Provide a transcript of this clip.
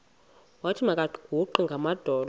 wathi makaguqe ngamadolo